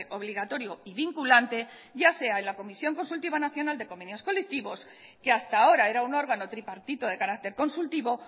obligatorio y vinculante ya sea en la comisión consultiva nacional de convenios colectivos que hasta ahora era un órgano tripartito de carácter consultivo